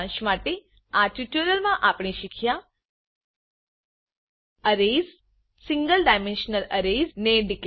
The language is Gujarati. સારાંશ માટે આ ટ્યુટોરીયલમાં આપણે શીખ્યા arrays single dimensional arrays single dimensional array ને ડીકલેર કરતા